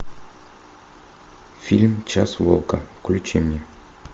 фильм час волка включи мне